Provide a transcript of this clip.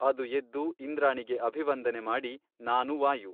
ಅದು ಎದ್ದು ಇಂದ್ರಾಣಿಗೆ ಅಭಿವಂದನೆ ಮಾಡಿ ನಾನು ವಾಯು.